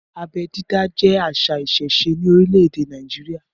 Abẹ́ dídá jẹ àṣà ìsẹ̀se ní orílẹ̀ èdè Nàìjíríà.